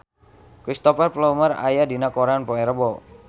Cristhoper Plumer aya dina koran poe Rebo